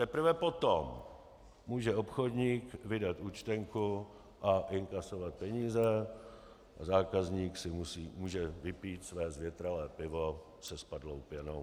Teprve potom může obchodník vydat účtenku a inkasovat peníze a zákazník si může vypít své zvětralé pivo se spadlou pěnou.